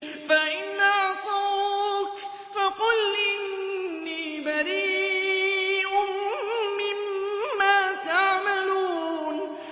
فَإِنْ عَصَوْكَ فَقُلْ إِنِّي بَرِيءٌ مِّمَّا تَعْمَلُونَ